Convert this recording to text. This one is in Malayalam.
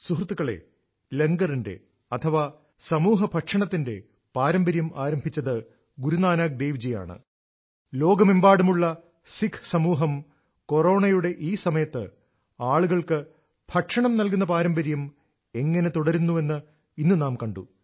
സുഹൃത്തുക്കളേ ലങ്കറിന്റെ സമൂഹ ഭക്ഷണം പാരമ്പര്യം ആരംഭിച്ചത് ഗുരു നാനക് ദേവ് ജി ആണ് ലോകമെമ്പാടുമുള്ള സിഖ് സമൂഹം കൊറോണയുടെ ഈ സമയത്ത് ആളുകൾക്ക് ഭക്ഷണം നൽകുന്ന പാരമ്പര്യം എങ്ങനെ തുടരുന്നുവെന്ന് ഇന്ന് നാം കണ്ടു